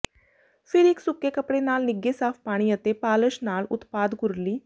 ਫਿਰ ਇੱਕ ਸੁੱਕੇ ਕੱਪੜੇ ਨਾਲ ਨਿੱਘੇ ਸਾਫ਼ ਪਾਣੀ ਅਤੇ ਪਾਲਸ਼ ਨਾਲ ਉਤਪਾਦ ਕੁਰਲੀ